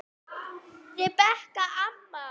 Rebekka amma.